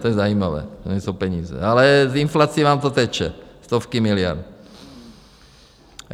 To je zajímavé, že nejsou peníze, ale s inflací vám to teče, stovky miliard.